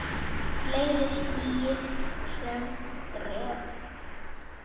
Fleiri stígi sömu skref?